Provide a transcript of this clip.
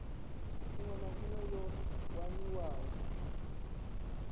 iṅwe na iṅwe yo waniwaho